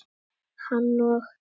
Hann og